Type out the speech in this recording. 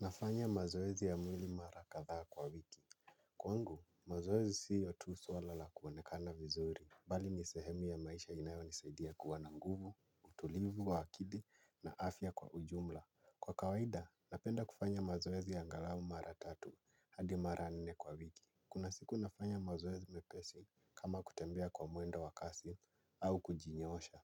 Nafanya mazoezi ya mwili mara kadhaa kwa wiki. Kwangu, mazoezi siyo tu swala la kuonekana vizuri. Bali ni sehemu ya maisha inayonisaidia kuwa na nguvu, utulivu, wa akili na afya kwa ujumla. Kwa kawaida, napenda kufanya mazoezi angalau mara tatu hadi mara nne kwa wiki. Kuna siku nafanya mazoezi mepesi kama kutembea kwa mwendo wa kasi au kujinyoosha.